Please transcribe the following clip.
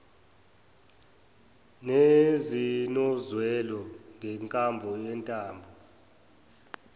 nezinozwela ngenkambo yentando